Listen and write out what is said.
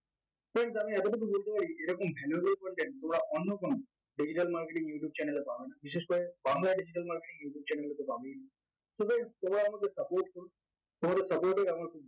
friends আমি এতটুকু বলতে পারি এরকম valuable content তোমরা অন্য কোনো digital marketing youtube channel এ পাওয়া যায় বিশেষ করে bangla id digital marketing youtube channel এ তো পাবেই so friends এবার আমাদের topic এ ঢুকবো তোমাদের topic এ